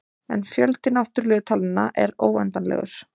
En fjöldi náttúrulegu talnanna er óendanlegur.